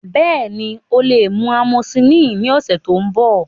Bẹẹni, o le mu amosillini ni ọsẹ to nbọ.